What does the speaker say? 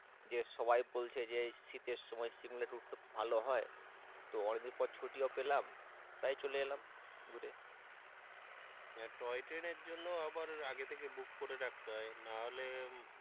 যে সবাই বলছে যে শীতের সময় সিমলা ট্যুরটা খুব ভালো হয় তো অনেকদিন পর ছুটি ও পেলাম তাই চলে এলাম ঘুরে টয় ট্রেনের জন্য আবার আগে থেকে বুক করে রাখতে হয়, না হলে,